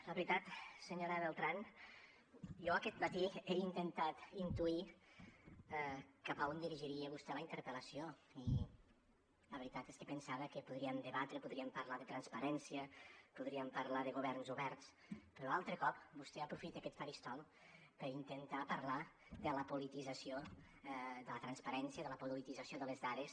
la veritat senyora beltrán jo aquest matí he intentat intuir cap a on dirigiria vostè la interpel·lació i la veritat és que pensava que podríem debatre podríem parlar de transparència podríem parlar de governs oberts però altre cop vostè aprofita aquest faristol per intentar parlar de la politització de la transparència de la politització de les dades